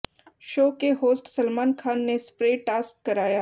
show के host Salman Khan ने spray task कराया